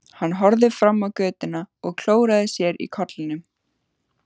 Hann horfði fram á götuna og klóraði sér í kollinum.